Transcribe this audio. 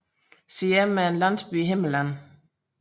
Siem er en landsby i Himmerland